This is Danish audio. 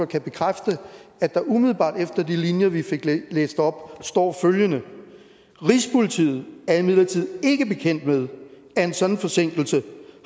kan bekræfte at der umiddelbart efter de linjer vi fik læst op står følgende rigspolitiet er imidlertid ikke bekendt med at en sådan forsinkelse